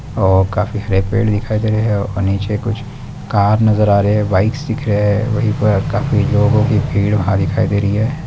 और काफी हरे पेड़ दिखाई दे रहे है और नीचे कुछ कार नजर आ रहे है बाइक्स दिख रहे है वही पर काफी लोगो की भीड़ वहां दिखाई दे रही है।